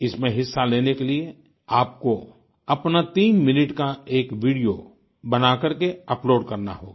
इसमें हिस्सा लेने के लिए आपको अपना तीन मिनट का एक वीडियो बना करके अपलोड करना होगा